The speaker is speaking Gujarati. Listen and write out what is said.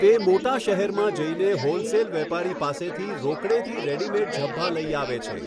તે મોટા શહેરમાં જઈને હોલસેલ વેપારી પાસેથી રોકડેથી રેડીમેઈડ ઝભ્ભા લઈ આવે છે.